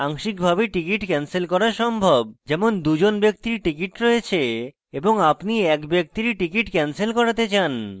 আংশিকভাবে ticket cancel করা সম্ভব যেমন 2 জন ব্যক্তির ticket রয়েছে এবং আপনি এক ব্যক্তির ticket cancel করাতে চান